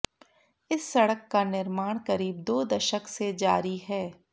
इस सड़क का निर्माण करीब दो दशक से जारी है